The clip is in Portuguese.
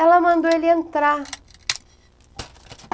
Ela mandou ele entrar.